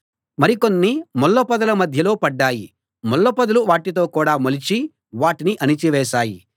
మరి కొన్ని ముళ్ళపొదల మధ్యలో పడ్డాయి ముళ్ళపొదలు వాటితో కూడా మొలిచి వాటిని అణచి వేశాయి